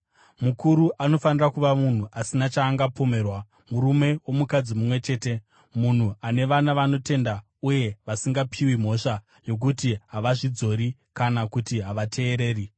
Mukuru anofanira kuva munhu asina chaangapomerwa, murume womukadzi mumwe chete, munhu ane vana vanotenda uye vasingapiwi mhosva yokuti havazvidzori kana kuti havateereri.